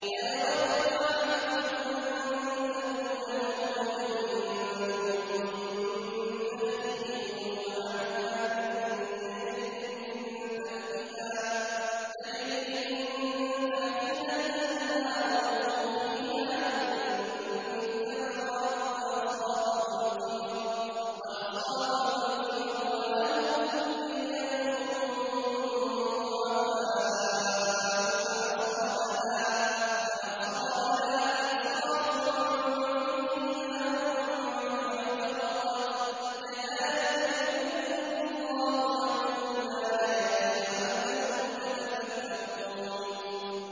أَيَوَدُّ أَحَدُكُمْ أَن تَكُونَ لَهُ جَنَّةٌ مِّن نَّخِيلٍ وَأَعْنَابٍ تَجْرِي مِن تَحْتِهَا الْأَنْهَارُ لَهُ فِيهَا مِن كُلِّ الثَّمَرَاتِ وَأَصَابَهُ الْكِبَرُ وَلَهُ ذُرِّيَّةٌ ضُعَفَاءُ فَأَصَابَهَا إِعْصَارٌ فِيهِ نَارٌ فَاحْتَرَقَتْ ۗ كَذَٰلِكَ يُبَيِّنُ اللَّهُ لَكُمُ الْآيَاتِ لَعَلَّكُمْ تَتَفَكَّرُونَ